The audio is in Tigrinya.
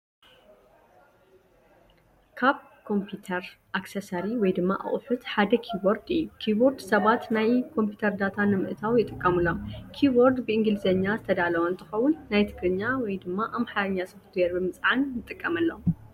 ካብ ካምፒዩተር ኣክሰሰሪ (ኣቅሑት) ሓደ ኪቦርድ እዩ። ኪቦርድ ሰባት ናብ ኮምፒተር ዳታ ንምእታው ይጥቀምሎም። ኪቦርድ ብእንግሊዝኛ ዝተዳለወ እንትኸውን ናይ ትግርኛ/ ኣምሓርኛ ሶፍትወር ብምፅዓት ንትቀመሎም።